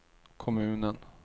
kommunen